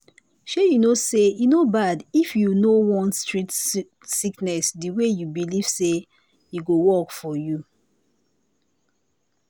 shey you know say e no bad if you no want treat sickness the way you believe say e go work for you